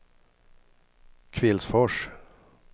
Kvillsfors